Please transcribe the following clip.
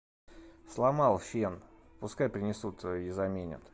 сломал фен пускай принесут и заменят